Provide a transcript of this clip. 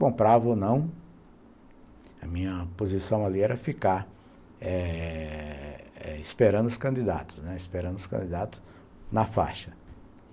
Comprava ou não, a minha posição ali era ficar eh eh esperando os candidatos, né, esperando os candidatos na faixa.